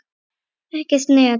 Ekkert net.